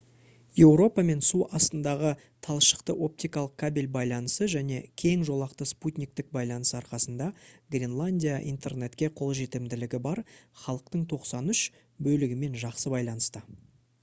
еуропамен су астындағы талшықты-оптикалық кабель байланысы және кең жолақты спутниктік байланыс арқасында гренландия интернетке қолжетімділігі бар халықтың 93% бөлігімен жақсы байланыста